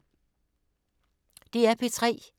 DR P3